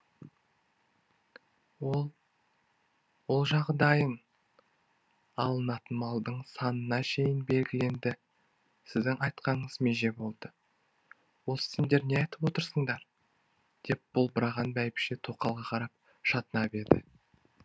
ол жағы дайын алынатын малдың санына шейін белгіленді сіздің айтқаныңыз меже болды осы сендер не айтып отырсыңдар деп болбыраған бәйбіше тоқалға қарап шатынап еді